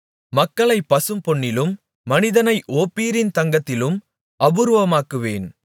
மக்களைப் பசும்பொன்னிலும் மனிதனை ஓப்பீரின் தங்கத்திலும் அபூர்வமாக்குவேன்